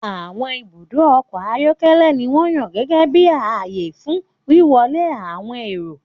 Àwọn ibùdó ọkọ̀ ayọ́kẹ́lẹ́ ni wọ́n yàn gẹ́gẹ́ bí ààyè fún wíwọlé àwọn èrò.